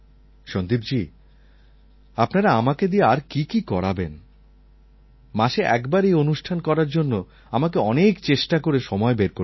সন্দীপজী আপনারা আমাকে দিয়ে আর কি কি করাবেন মাসে একবার এই অনুষ্ঠান করার জন্য আমাকে অনেক চেষ্টা করে সময় বের করতে হয়